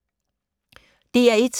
DR1